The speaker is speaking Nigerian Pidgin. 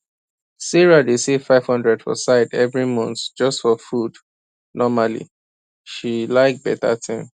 sarah dey save 500 for side every month just for food normally she like beta thing